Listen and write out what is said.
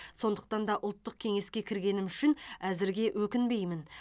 сондықтан да ұлттық кеңеске кіргенім үшін әзірге өкінбеймін